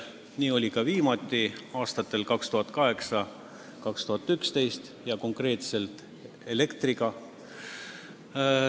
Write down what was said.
Nii oli viimati aastatel 2008–2011 ja konkreetselt elektriga.